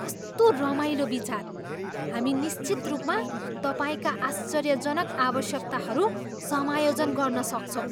कस्तो रमाइलो विचार! हामी निश्चित रूपमा तपाईँका आश्चर्यजनक आवश्यकताहरू समायोजन गर्न सक्छौँ।